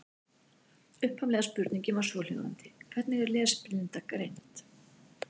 Upphaflega spurningin var svohljóðandi: Hvernig er lesblinda greind?